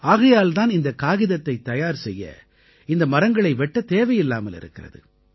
ஆகையால் தான் இந்தக் காகிதத்தைத் தயார் செய்ய இந்த மரங்களை வெட்டத் தேவையில்லாமல் இருக்கிறது